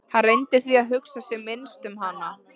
Hann reyndi því að hugsa sem minnst um hana.